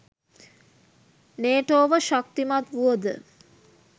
නේටෝව ශක්තිමත් වුවද